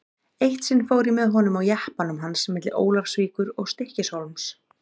Eitt sinn fór ég með honum á jeppanum hans milli Ólafsvíkur og Stykkishólms.